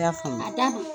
I y'a faamu a